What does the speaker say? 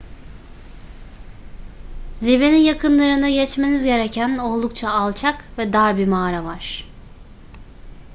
zirvenin yakınlarında geçmeniz gereken oldukça alçak ve dar bir mağara var